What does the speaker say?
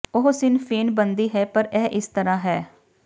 ਉਹ ਸਿਨ ਫੇਨ ਬਣਦੀ ਹੈ ਪਰ ਇਹ ਇਸ ਤਰਾਂ ਹੈ